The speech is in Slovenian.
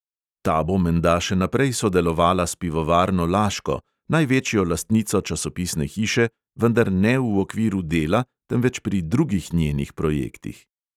Ta bo menda še naprej sodelovala s pivovarno laško, največjo lastnico časopisne hiše, vendar ne v okviru dela, temveč pri drugih njenih projektih.